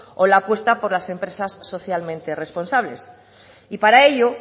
o la apuesta por las empresas socialmente responsables y para ello